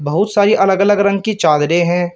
बहुत सारी अलग अलग रंग की चादरें हैं।